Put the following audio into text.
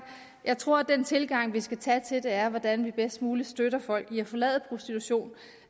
tror at den tilgang vi skal tage til det er hvordan vi bedst muligt støtter folk i at forlade prostitution